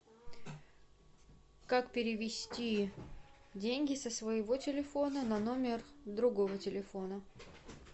как перевести деньги со своего телефона на номер другого телефона